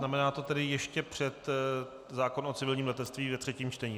Znamená to tedy ještě před zákon o civilním letectví ve třetím čtení.